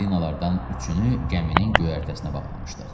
Balinalardan üçünü gəminin göyərtəsinə bağlamışdıq.